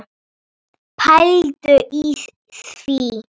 Pældu í því.